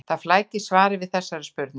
Það flækir svarið við þessari spurningu.